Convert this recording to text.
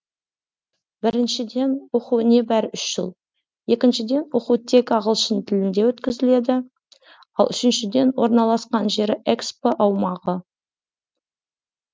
біріншіден оқу небәрі үш жыл екіншіден оқу тек ағылшын тілінде өткізіледі ал үшіншіден орналасқан жері экспо аумағы